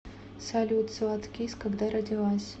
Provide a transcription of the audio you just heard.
салют златкис когда родилась